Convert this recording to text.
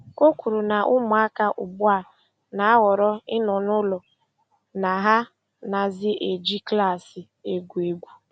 O kwuru na ụmụaka ugbu a na-ahọrọ ịnọ n'ụlọ na ha nazị eji klaasị egwu egwu.